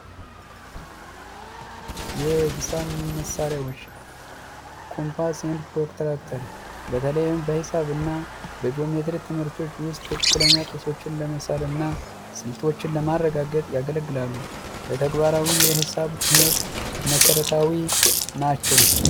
የሂሳብ መሳሪያዎች ኮምፓስ እና ፕሮትራክተር በተለይም በሂሳብና በጂኦሜትሪ ትምህርቶች ውስጥ ትክክለኛ ምስሎችን ለመሳልና ስልጠና ስንቶችን ለማረጋገጥ ያገለግላሉ ተግባራዊ የሂሳብ ትምህርት መሰረታዊ ናቸው።